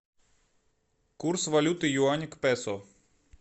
курс валюты юань к песо